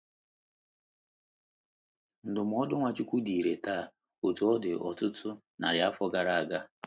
Ndụmọdụ Nwachukwu dị irè taa otú ọ dị ọtụtụ narị afọ gara aga.